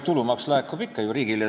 Tulumaks laekub ju ikka riigile.